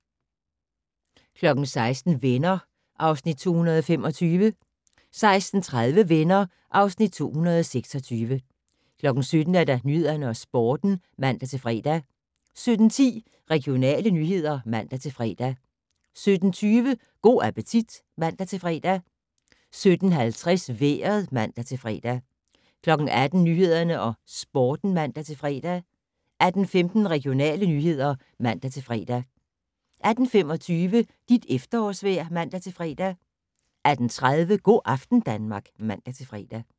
16:00: Venner (Afs. 225) 16:30: Venner (Afs. 226) 17:00: Nyhederne og Sporten (man-fre) 17:10: Regionale nyheder (man-fre) 17:20: Go' appetit (man-fre) 17:50: Vejret (man-fre) 18:00: Nyhederne og Sporten (man-fre) 18:15: Regionale nyheder (man-fre) 18:25: Dit efterårsvejr (man-fre) 18:30: Go' aften Danmark (man-fre)